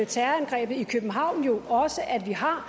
terrorangrebet i københavn jo også at vi har